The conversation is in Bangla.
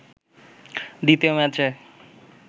দ্বিতীয় ম্যাচে